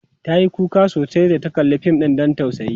tayi kuka sosai da ta kalla Fim ɗin Dan tausayi